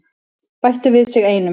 Bættu við sig einum.